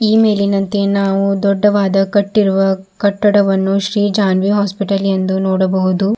ಈ ಮೇಲಿನಂತೆ ನಾವು ದೊಡ್ದವಾದ ಕಟ್ಟಿರುವ ಕಟ್ಟಡವನ್ನು ಶ್ರೀ ಜಾನ್ವಿ ಹಾಸ್ಪಿಟಲ್ ಎಂದು ನೋಡಬಹುದು.